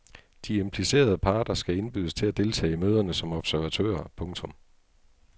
De implicerede parter skal indbydes til at deltage i møderne som observatører. punktum